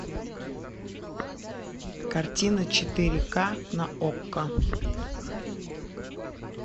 картина четыре ка на окко